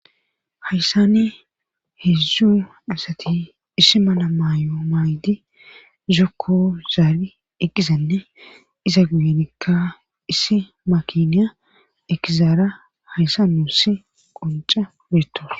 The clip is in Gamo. Hayssani heedzdzu asati issi mala maayo maydi zokko zaari eqqizanne iza guyenikka issi makiniya ekizaara hayssa nuussi qonca beettos